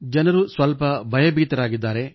ಜನರು ಸ್ವಲ್ಪ ಭಯಭೀತರಾಗಿದ್ದಾರೆ